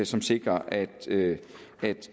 som sikrer at